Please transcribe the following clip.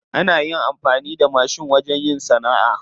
Ana amfani da mashin wajen yin sana'a.